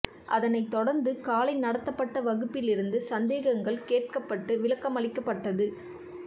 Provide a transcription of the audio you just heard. அதனைத் தொடர்ந்து காலை நடத்தப்பட்ட வகுப்பிலிருந்து சந்தேகங்கள் கேட்கப்பட்டு விளக்கமளிக்கப்பட்டது